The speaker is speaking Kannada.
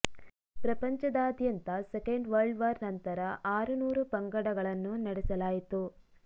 ಪ್ರಪಂಚದಾದ್ಯಂತ ಸೆಕೆಂಡ್ ವರ್ಲ್ಡ್ ವಾರ್ ನಂತರ ಆರು ನೂರು ಪಂಗಡಗಳನ್ನು ನಡೆಸಲಾಯಿತು